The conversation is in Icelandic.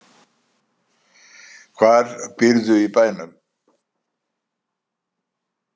Hvar býrðu í bænum?